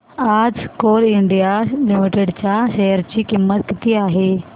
आज Coal India Limited च्या share ची किंमत किती आहे